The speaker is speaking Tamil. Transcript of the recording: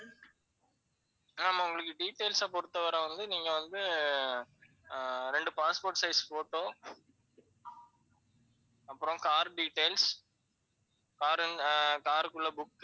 ஆமா உங்களுக்கு details அ பொறுத்தவரை வந்து, நீங்க வந்து ஆஹ் ரெண்டு passport size photo, அப்பறம் car details car, car க்குள்ள book